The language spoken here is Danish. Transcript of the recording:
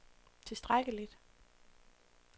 tilstrækkeligt